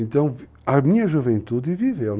Então, a minha juventude viveu.